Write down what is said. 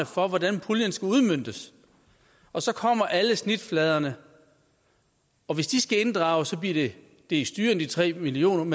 for hvordan puljen skal udmøntes og så kommer alle snitfladerne og hvis de skal inddrages bliver det dels dyrere end de tre million